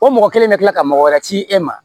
O mɔgɔ kelen bɛ kila ka mɔgɔ wɛrɛ ci e ma